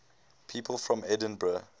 people from edinburgh